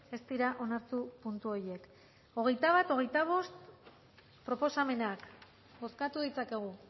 ez dira onartu puntu horiek hogeita bat hogeita bost proposamenak bozkatu ditzakegu